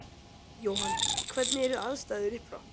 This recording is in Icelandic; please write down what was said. Jóhann: Hvernig eru aðstæður upp frá?